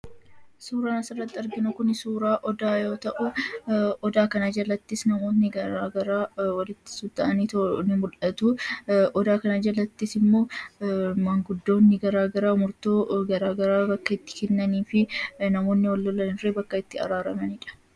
Suuraan asirratti arginu kun suuraa Odaa yoo ta'u Odaa kana jalatti namoonni garaagaraa walitti qabamanii ni mul'atu. Odaa kana jalattis immoo manguddoonni garaagaraa iddoo garaagaraa bakka itti kennanii fi namoonni wal lolan illee bakka itti araaramanidha.